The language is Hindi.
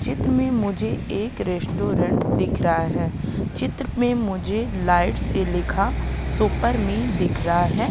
चित्र में मुझे एक रेस्टोरेंट दिख रहा है चित्र में मुझे लाइट से लिखा सुपर मी दिख रहा है।